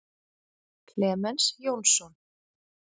Klemens Jónsson.